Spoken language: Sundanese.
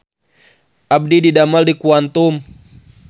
Abdi didamel di Quantum